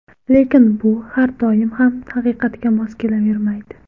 Lekin bu har doim ham haqiqatga mos kelavermaydi.